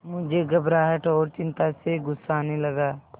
मुझे घबराहट और चिंता से गुस्सा आने लगा